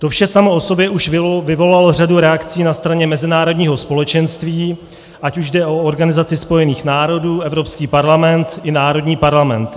To vše samo o sobě už vyvolalo řadu reakcí na straně mezinárodních společenství, ať už jde o Organizaci spojených národů, Evropský parlament i národní parlamenty.